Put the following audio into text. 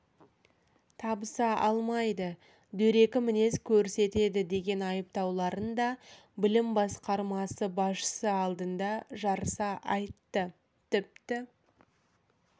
табыса алмайды дөрекі мінез көрсетеді деген айыптауларын да білім басқармасы басшысы алдында жарыса айтты тіпті